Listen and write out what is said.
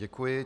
Děkuji.